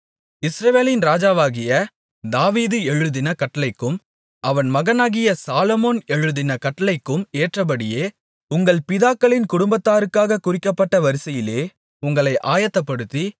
இஸ்ரவேலின் ராஜாவாகிய தாவீது எழுதின கட்டளைக்கும் அவன் மகனாகிய சாலொமோன் எழுதின கட்டளைக்கும் ஏற்றபடியே உங்கள் பிதாக்களின் குடும்பத்தாருக்காகக் குறிக்கப்பட்ட வரிசையிலே உங்களை ஆயத்தப்படுத்தி